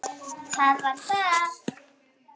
Það var það!